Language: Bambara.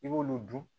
I b'olu dun